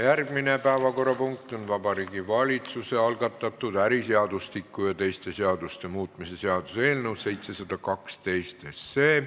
Järgmine päevakorrapunkt on Vabariigi Valitsuse algatatud äriseadustiku ja teiste seaduste muutmise seaduse eelnõu 712 teine lugemine.